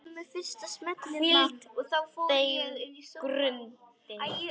hvíld, deyfð, drungi